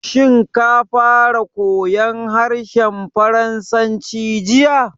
Shin ka fara koyan harshen Faransanci jiya?